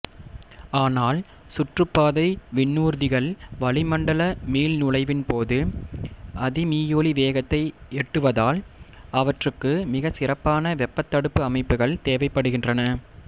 ஆனால் சுற்றுப்பாதை விண்ணூர்திகள் வளிமண்டல மீள்நுழைவின்போது அதிமீயொலிவேகத்தை எட்டுவதால் அவற்றுக்கு மிக சிறப்பான வெப்பத் தடுப்பு அமைப்புகள் தேவைப்படுகின்றன